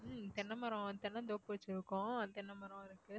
உம் தென்னை மரம் தென்னந்தோப்பு வச்சிருக்கோம் தென்னை மரம் இருக்கு